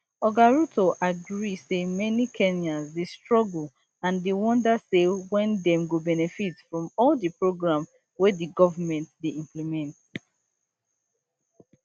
oga ruto agree say many kenyans dey struggle and dey wonder say wen dem go benefit from all di program wey di government dey implement